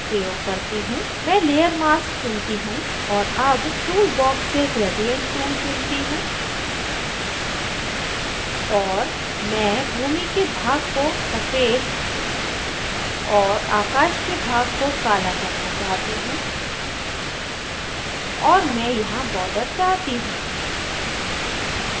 मैं layer mask चुनती हूँ और अब tool box से gradient tool चुनती हूँ और मैं भूमि के भाग को सफ़ेद और आकाश के भाग को काला करना चाहती हूँ और मैं यहाँ border चाहती हूँ